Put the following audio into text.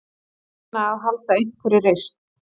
Reyna að halda einhverri reisn.